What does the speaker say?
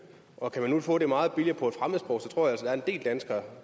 og kan man nu få det meget billigere på et fremmedsprog tror jeg at der er en del danskere